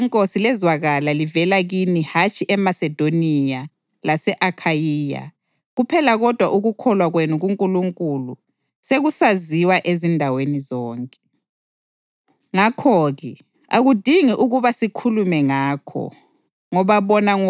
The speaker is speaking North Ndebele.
Ilizwi leNkosi lezwakala livela kini hatshi eMasedoniya lase-Akhayiya kuphela kodwa ukukholwa kwenu kuNkulunkulu sekusaziwa ezindaweni zonke. Ngakho-ke, akudingeki ukuba sikhulume ngakho